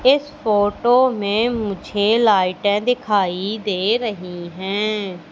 इस फोटो में मुझे लाइटे दिखाई दे रही हैं।